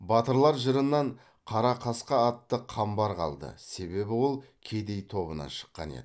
батырлар жырынан қара қасқа атты қамбар қалды себебі ол кедей тобынан шыққан еді